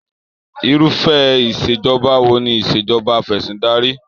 Irufẹ Ìṣèjọba wo ni Ìṣèjọba afẹ̀sìndarí?